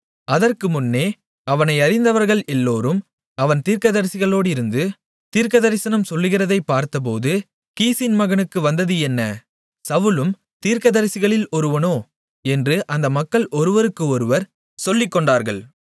அதற்கு முன்னே அவனை அறிந்தவர்கள் எல்லோரும் அவன் தீர்க்கதரிசிகளோடிருந்து தீர்க்கதரிசனம் சொல்கிறதைப் பார்த்தபோது கீசின் மகனுக்கு வந்தது என்ன சவுலும் தீர்க்கதரிசிகளில் ஒருவனோ என்று அந்த மக்கள் ஒருவருக்கு ஒருவர் சொல்லிக்கொண்டார்கள்